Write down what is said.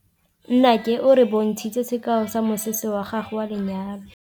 Nnake o re bontshitse sekaô sa mosese wa gagwe wa lenyalo.